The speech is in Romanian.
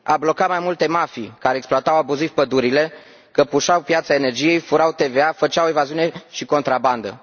A blocat mai multe mafii care exploatau abuziv pădurile, căpușau piața energiei, furau TVA, făceau evaziune și contrabandă.